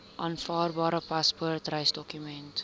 aanvaarbare paspoort reisdokument